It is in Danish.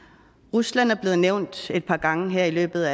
rusland er blevet nævnt et par gange her i løbet